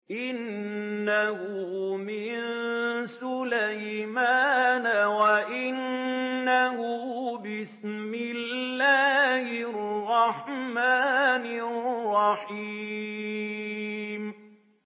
إِنَّهُ مِن سُلَيْمَانَ وَإِنَّهُ بِسْمِ اللَّهِ الرَّحْمَٰنِ الرَّحِيمِ